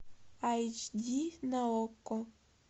айч ди на окко